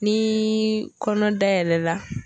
Ni kɔnɔna dayɛlɛ la